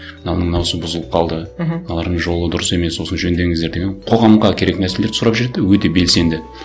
мынаның бұзылып қалды мхм мыналардың жолы дұрыс емес осыны жөндеңіздер деген қоғамға керек нәрселерді сұрап жүреді де өте белсенді